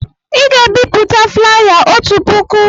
Ị ga-ebipụta flaya otu puku!